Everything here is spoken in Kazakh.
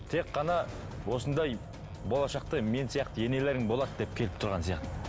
тек қана осындай болашақта мен сияқты енелерің болады деп келіп тұрған сияқты